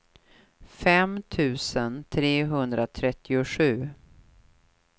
fem tusen trehundratrettiosju